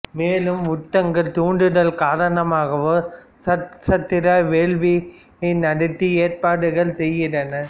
மேலும் உத்தங்கர் தூண்டுதல் காரணமாகவும் சர்ப்ப சத்ரா வேள்வி யை நடத்த ஏற்பாடுகள் செய்கிறான்